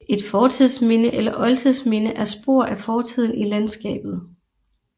Et fortidsminde eller oldtidsminde er spor af fortiden i landskabet